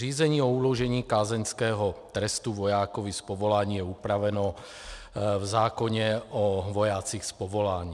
Řízení o uložení kázeňského trestu vojákovi z povolání je upraveno v zákoně o vojácích z povolání.